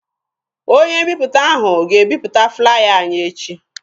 Onye mbiputa ahụ ga-ebiputa flaya anyị echi.